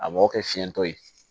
A m'o kɛ fiɲɛtɔ ye